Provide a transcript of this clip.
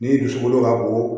Ni dusukolo ka bon